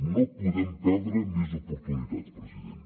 no podem perdre més oportunitats president